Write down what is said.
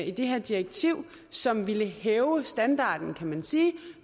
i det her direktiv som ville hæve standarden kan man sige